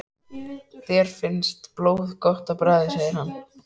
Þér finnst blóð gott á bragðið segir hann.